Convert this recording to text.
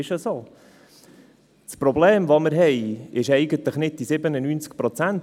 Das Problem sind nicht diese 97 Prozent.